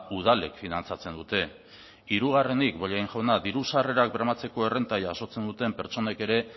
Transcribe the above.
udalek finantzatzen dute hirugarrenik bollain jauna diru sarrerak bermatzeko errenta jasotzen duten pertsonek ere